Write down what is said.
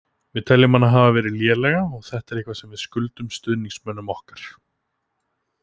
Við teljum hana hafa verið lélega og þetta er eitthvað sem við skuldum stuðningsmönnum okkar.